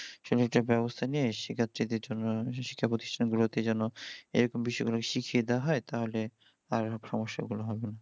এটার ব্যাবস্থা নিয়ে শিক্ষা প্রতিষ্ঠান গুলতে যেন এরকম বিষয়ই গুলো শিখিয়ে দেওয়া হই তাহলে আর সমস্যা গুলো হবে না